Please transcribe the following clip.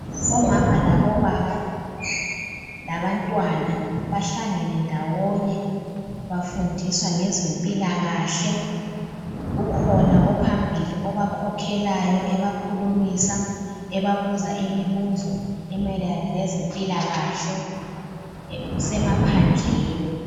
Omama labobaba, labantwana bahlangene ndawonye befundiswa ngezempilakahle. Kukhona ophambili obakhokhelayo ebakhulumisa ebabuza imibuzo emayelana lezempilakahle kusemaphandleni.